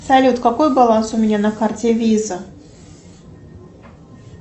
салют какой баланс у меня на карте виза